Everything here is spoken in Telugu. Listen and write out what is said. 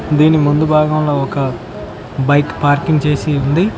దీని ముందు భాగంలో ఒక బైక్ పార్కింగ్ చేసి ఉంది.